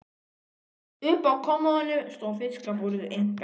Uppi á kommóðunni stóð fiskabúrið, einkaeign